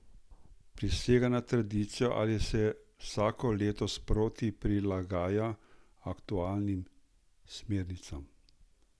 Prisega na tradicijo ali se vsako leto sproti prilagaja aktualnim smernicam?